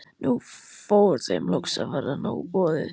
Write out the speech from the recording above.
Nú fór þeim loks að verða nóg boðið.